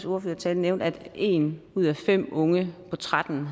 ordførertale nævnte at en ud af fem unge på tretten